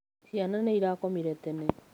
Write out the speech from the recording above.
Cĩana nĩĩrakomĩre tene.